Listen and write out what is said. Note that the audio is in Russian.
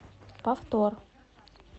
повтор